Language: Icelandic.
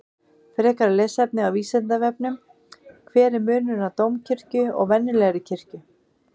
Frekara lesefni á Vísindavefnum: Hver er munurinn á dómkirkju og venjulegri kirkju?